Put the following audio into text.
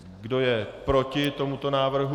Kdo je proti tomuto návrhu?